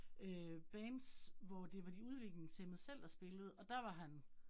Øh bands, hvor det var de udviklingshæmmede selv, der spillede, og der var han